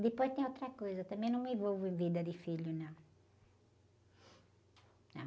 Depois tem outra coisa, eu também não me envolvo em vida de filho, não.